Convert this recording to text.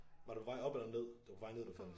Var du på vej op eller ned? Det var på vej ned du faldt